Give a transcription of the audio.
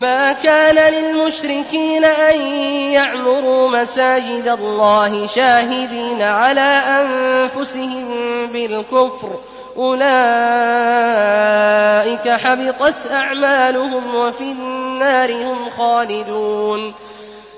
مَا كَانَ لِلْمُشْرِكِينَ أَن يَعْمُرُوا مَسَاجِدَ اللَّهِ شَاهِدِينَ عَلَىٰ أَنفُسِهِم بِالْكُفْرِ ۚ أُولَٰئِكَ حَبِطَتْ أَعْمَالُهُمْ وَفِي النَّارِ هُمْ خَالِدُونَ